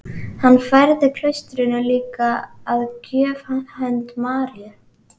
Hann færði klaustrinu líka að gjöf hönd Maríu